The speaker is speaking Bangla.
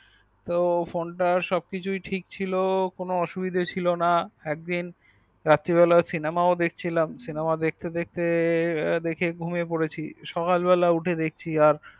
তো phone তার সবকিছুই ঠিক ছিল কোনো অসুবিধা ছিল না একদিন রাত্রি বেলায় cinema দেখছিলাম cinema দেখতে দেখতে দেখে ঘুমিয়ে পড়েছি সকালবেলা উঠে দেখছি আর